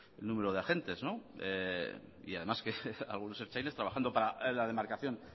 el número de agentes y además que algunos ertzainas trabajando para la demarcación